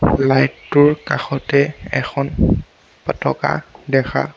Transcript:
light টোৰ কাষতে এখন পতকা দেখা--